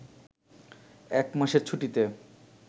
এক মাসের ছুটিতে